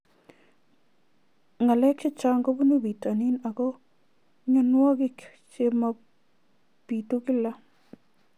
Ng'alek chechang' kopunu pitonin ako mianwogik che mapitu kila